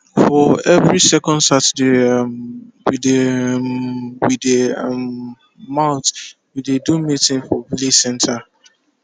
for every second saturday um wey dey um wey dey um month we dey do meeting for village center